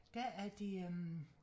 Der er de øh